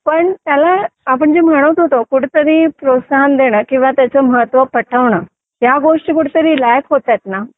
आपण जे म्हणतो म्हणत होतो आपण कुठेतरी प्रोत्साहन देणं किंवा त्याचा महत्त्व पटवून या गोष्टी कुठेतरी लाख होत आहेत ना